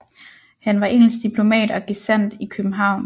Han var engelsk diplomat og gesandt i København